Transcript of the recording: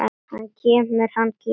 Hann kemur, hann kemur!!